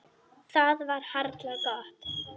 Það var harla gott.